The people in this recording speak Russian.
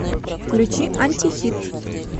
включи антихит